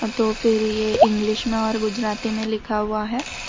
तो फिर ये इंग्लिश में और गुजराती में लिखा हुवा हैं।